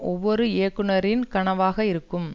ஒவ்வொரு இயக்குனரின் கனவா இருக்கும்